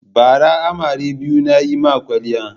Bara amare biyu na yi ma kwaliya.